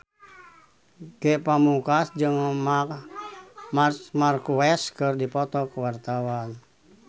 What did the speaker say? Ge Pamungkas jeung Marc Marquez keur dipoto ku wartawan